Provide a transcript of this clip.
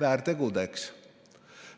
väärtegudeks.